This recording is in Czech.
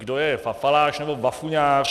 Kdo je papaláš nebo bafuňář?